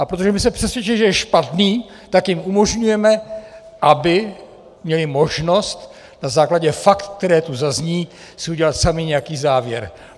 A protože my jsme přesvědčeni, že je špatný, tak jim umožňujeme, aby měli možnost na základě faktů, které tu zazní, si udělat sami nějaký závěr.